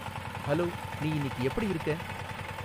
hello நீ இன்னிக்கு எப்படி இருக்க